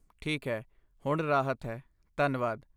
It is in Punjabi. ਠੀਕ ਹੈ, ਹੁਣ ਰਾਹਤ ਹੈ, ਧੰਨਵਾਦ!